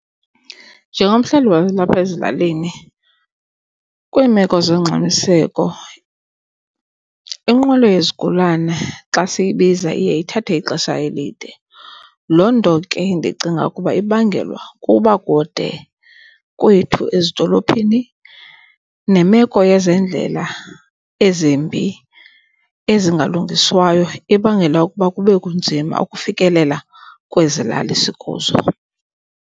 Njengomhlali walapha ezilalini kwiimeko zongxamiseko inqwelo yezigulana xa siyibiza iye ithathe ixesha elide. Loo nto ke ndicinga ukuba ibangelwa kukuba kude kwethu ezidolophini nemeko yezendlela ezimbi ezingalungiswayo ebangela ukuba kube kunzima ukufikelela kwezi lali sikuzo.